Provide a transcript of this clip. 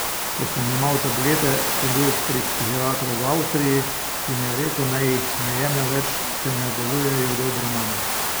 Ko sem jemal tablete, sem bil pri psihiatru v Avstriji, ki mi je rekel, naj jih ne jemljem več, saj ne delujejo dobro name.